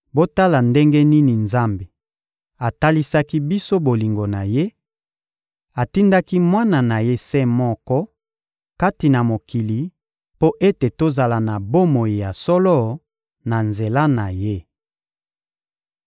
Botala ndenge nini Nzambe atalisaki biso bolingo na Ye: atindaki Mwana na Ye se moko kati na mokili mpo ete tozala na bomoi ya solo na nzela na Ye.